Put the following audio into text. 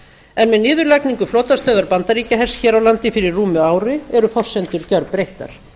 en með niðurlagningu flotastöðvar bandaríkjahers hér á landi fyrir rúmu ári eru forsendur gjörbreyttar